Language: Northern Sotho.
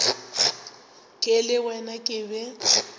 ke le wena ke be